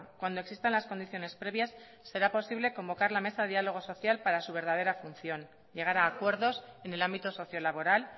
cuando existan las condiciones previas será posible convocar la mesa de diálogo social para su verdadera función llegar a acuerdos en el ámbito sociolaboral